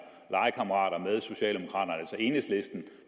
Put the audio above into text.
legekammerater med socialdemokraterne altså enhedslisten